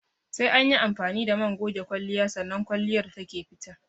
Sai anyi amfani da man goge kwalliya sannan kwalliyar take fita